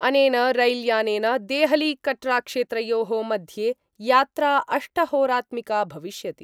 अनेन रैल्यानेन देहलीकटराक्षेत्रयो: मध्ये यात्रा अष्टहोरात्मिका भविष्यति।